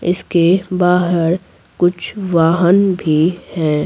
इसके बाहर कुछ वाहन भी हैं।